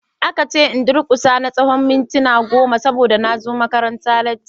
Aka ce in durkusa na tsawon mintuna goma saboda na zo makaranta latti.